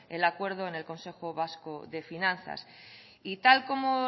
el acuerdo en el consejo vasco de finanzas y tal como